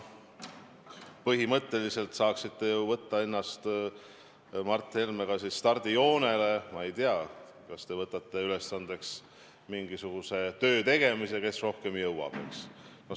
Põhimõtteliselt saaksite te ju võtta ennast koos Mart Helmega stardijoonele ja võtta, ma ei tea, ülesandeks mingisuguse töö tegemise, et kes rohkem jõuab.